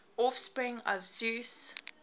offspring of zeus